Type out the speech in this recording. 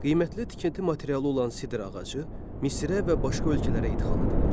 Qiymətli tikinti materialı olan sidr ağacı Misrə və başqa ölkələrə ixrac edilirdi.